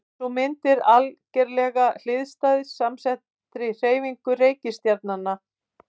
Sú mynd er algerlega hliðstæð samsettri hreyfingu reikistjarnanna.